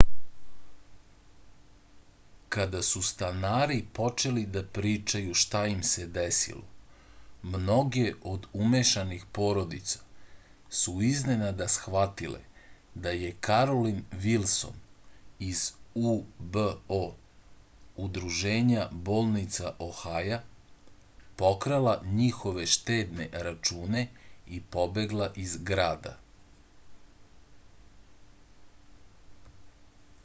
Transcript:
када су станари почели да причају шта им се десило многе од умешаних породица су изненада схватиле да је каролин вилсон из ubo удружења болница охаја покрала њихове штедне рачуне и побегла из града